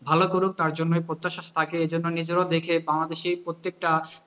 ভালো করুক তার জন্যই প্রত্যাশা থাকে, এর জন্য নিজেরাও দেখি বাংলাদেশী প্রত্যেকটা